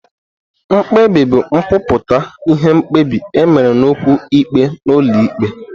Mkpebi bụ nkwupụta ihe mkpebi e mere n'okwu ikpe n'ụlọ ikpe.